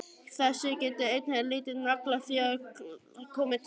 Þessu getur ein lítil naglaþjöl komið til leiðar.